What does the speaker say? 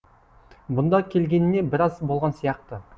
бұнда келгеніне біраз болған сияқты